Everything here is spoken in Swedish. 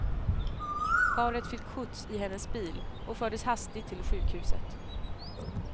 Paret fick skjuts i hennes bil och fördes hastigt till sjukhuset.